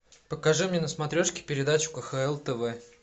покажи мне на смотрешке передачу кхл тв